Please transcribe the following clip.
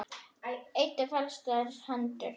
Eddu fallast hendur.